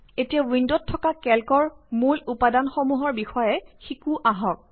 এতিয়া কেল্ক উইন্ডত থকা মূল উপাদানসমূহৰ বিষয়ে শিকোঁ আঁহক